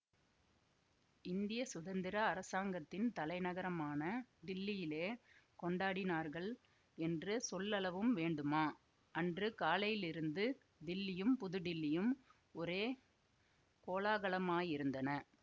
இந்திய சுதந்திர அரசாங்கத்தின் தலைநகரமான டில்லியிலே கொண்டாடினார்கள் என்று சொல்லவும் வேண்டுமா அன்று காலையிலிருந்து டில்லியும் புதுடில்லியும் ஒரே கோலாகலமாயிருந்தன